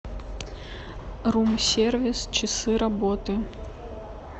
рум сервис часы работы